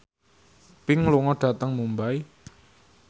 Pink lunga dhateng Mumbai